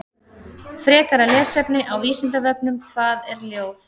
Frekara lesefni á Vísindavefnum: Hvað er ljóð?